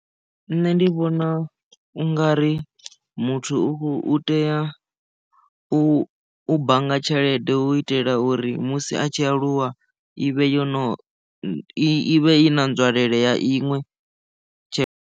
Nṋe ndi vhona u nga ri muthu u khou tea u bannga tshelede u itela uri musi a tshi aluwa ivhe yo no i vhe i na nzwalelo ya iṅwe tshelede.